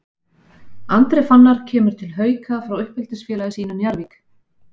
Andri Fannar kemur til Hauka frá uppeldisfélagi sínu Njarðvík.